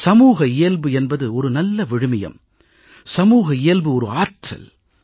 சமூக இயல்பு என்பது ஒரு நல்ல விழுமியம் சமூக இயல்பு ஒரு ஆற்றல்